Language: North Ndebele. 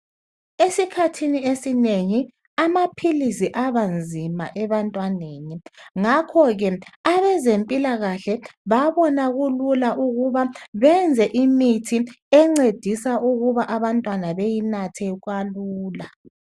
Esikhathini esinengi amaphilisi abanzima ebantwaneni ngakho ke abezempilakahle babona kulula ukuba benze imithi encedisa ukuba abantwana bayinathe kalula.